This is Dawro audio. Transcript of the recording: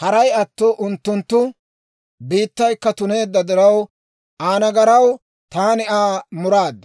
Haray atto unttunttu biittaykka tuneedda diraw, Aa nagaraw taani Aa muraad;